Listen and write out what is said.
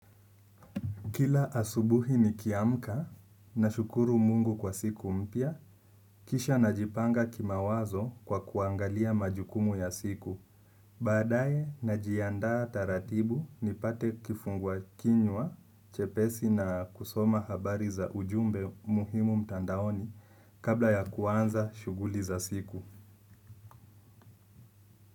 Kila asubuhi nikiamka nashukuru Mungu kwa siku mpya, kisha najipanga kimawazo kwa kuangalia majukumu ya siku. Baadaye najiandaa taratibu nipate kifungua kinywa, chepesi na kusoma habari za ujumbe muhimu mtandaoni kabla ya kuanza shughuli za siku.